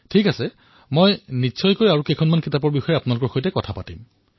ঠিক আছে মই আপোনালোকৰ সৈতে অন্য গ্ৰন্থৰ বিষয়েও আলোচনা কৰিম